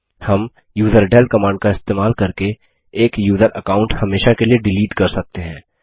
हम userdel command का इस्तेमाल करके एक यूज़र अकाउंट हमेशा के लिए डिलीट कर सकते हैं